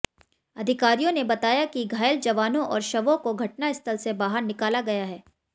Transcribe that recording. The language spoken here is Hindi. अधिकारियों ने बताया कि घायल जवानों और शवों को घटनास्थल से बाहर निकाला गया है